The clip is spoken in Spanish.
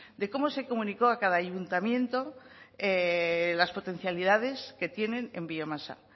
de cómo se comunicó a cada ayuntamiento las potencialidades que tienen en biomasa